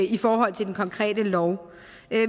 i forhold til den konkrete lov